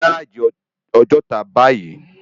Lò si gáráji Òjòtá báyi